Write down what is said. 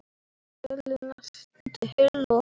Vélin lenti heilu og höldnu.